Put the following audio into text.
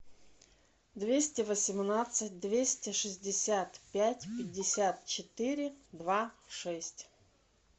двести восемнадцать двести шестьдесят пять пятьдесят четыре два шесть